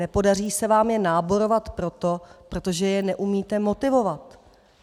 Nepodaří se vám je náborovat proto, protože je neumíte motivovat.